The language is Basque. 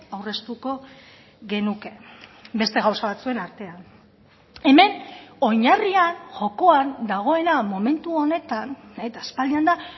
aurreztuko genuke beste gauza batzuen artean hemen oinarrian jokoan dagoena momentu honetan eta aspaldian da